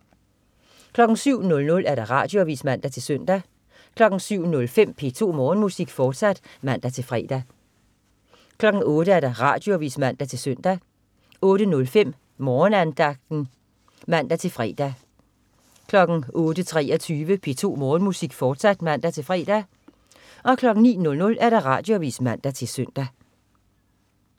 07.00 Radioavis (man-søn) 07.05 P2 Morgenmusik, fortsat (man-fre) 08.00 Radioavis (man-søn) 08.05 Morgenandagten (man-fre) 08.23 P2 Morgenmusik, fortsat (man-fre) 09.00 Radioavis (man-søn)